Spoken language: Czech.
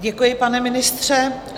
Děkuji, pane ministře.